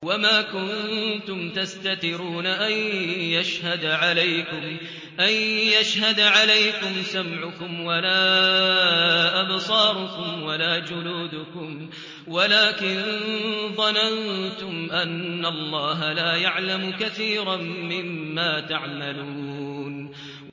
وَمَا كُنتُمْ تَسْتَتِرُونَ أَن يَشْهَدَ عَلَيْكُمْ سَمْعُكُمْ وَلَا أَبْصَارُكُمْ وَلَا جُلُودُكُمْ وَلَٰكِن ظَنَنتُمْ أَنَّ اللَّهَ لَا يَعْلَمُ كَثِيرًا مِّمَّا تَعْمَلُونَ